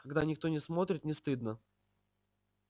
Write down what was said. когда никто не смотрит не стыдно